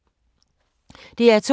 DR2